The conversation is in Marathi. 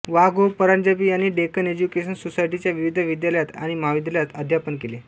वा गो परांजपे यांनी डेक्कन एज्युकेशन सोसायटीच्या विविध विद्यालयांत आणि महाविद्यालयांत अध्यापन केले